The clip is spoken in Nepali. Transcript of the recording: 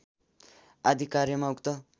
आदि कार्यमा उक्त